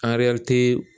Angɛrɛ te